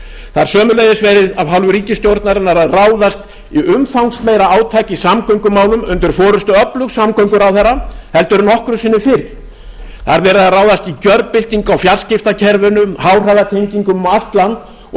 það er sömuleiðis verið af hálfu ríkisstjórnarinnar að ráðast í umfangsmeira átak í samgöngumálum undir forustu öflugs samgönguráðherra en nokkru sinni fyrr það er verið að ráðast í gjörbyltingu á fjarskiptakerfunum háhraðatengingum um allt land og